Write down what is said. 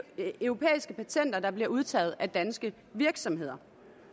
europæiske patenter der bliver udtaget af danske virksomheder